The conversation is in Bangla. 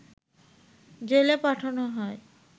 জেলে পাঠানো হয়